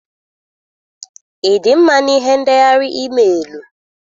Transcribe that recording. Ị dị mma na ihe ndeghar emailuu?